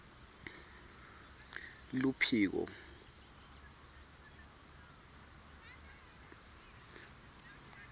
luphiko